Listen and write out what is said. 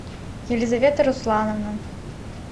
елизавета руслановна